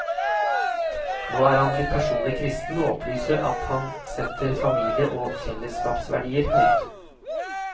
Nå er han blitt personlig kristen og opplyser at han setter familie og fellesskapsverdier høyt.